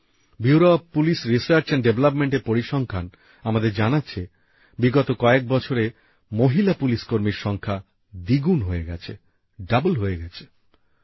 bureau of police research and ডেভেলপমেন্টের পরিসংখ্যান আমাদের জানাচ্ছে বিগত কয়েক বছরে মহিলা পুলিশকর্মীর সংখ্যা দ্বিগুণ হয়ে গেছে ডবল হয়ে গেছে